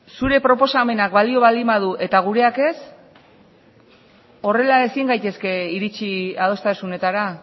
zure proposamenak balio baldin badu eta gureak ez horrela ezin gaitezke iritsi adostasunetara